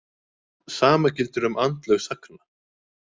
Sama gildir um andlög sagna.